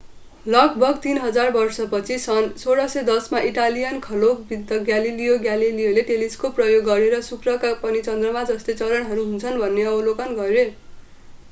लगभग तीन हजार वर्षपछि सन् 1610 मा इटालियन खगोलविद् ग्यालिलियो ग्यालेलीले टेलिस्कोप प्रयोग गरेर शुक्रका पनि चन्द्रमाका जस्तै चरणहरू हुन्छन् भन्ने अवलोकन गरे